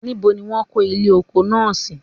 nibo ni won ko ile oko naa si?.